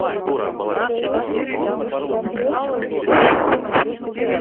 вискас